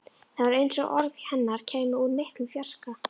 Það var eins og orð hennar kæmu úr miklum fjarska.